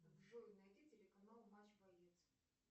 джой найди телеканал матч боец